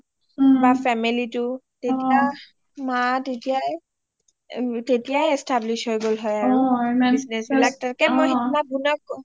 বা family টো তেতিয়া মা তেতিয়াই establish হয় গল হয় আৰু অ